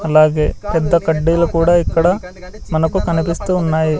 అలాగే పెద్ద కడ్డీలు కూడా ఇక్కడ మనకు కనిపిస్తున్నాయి.